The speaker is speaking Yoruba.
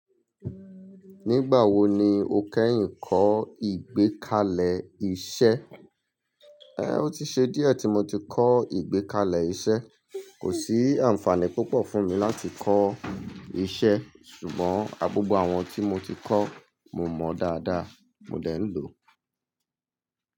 Nígbà wo ni o kẹ́yìn kọ́ ìgbékalẹ̀ iṣẹ́? Ẹ, ó ti ṣe díẹ̀ tí mo ti kọ́ ìgbékalẹ̀ iṣẹ́. Kò sí àǹfààní púpọ̀ fún mi láti kọ́ iṣẹ́. Ṣùgbọ́n agbọ́gbọ́ àwọn tí mo ti kọ́, mo mọ̀ dáadáa. Mo lè ń lò ó.